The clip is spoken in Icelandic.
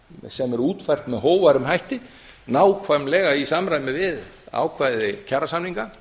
sem er útfært með hógværum hætti nákvæmlega í samræmi við ákvæði kjarasamninga